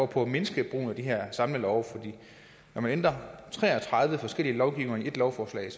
på at mindske brugen af de her samlelove for når man ændrer tre og tredive forskellige lovgivninger i ét lovforslag